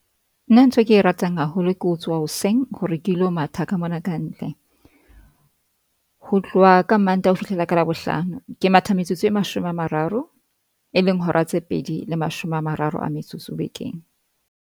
Nna ntho eke ratang haholo, ke ho tsoha hoseng hore ke lo matha ka mona ka ntle. Ho tloha ka Mantaha ho fihlela ka Labohlano, ke matha metsotso e mashome a mararo, e leng hora tse pedi le mashome a mararo a metsotso bekeng.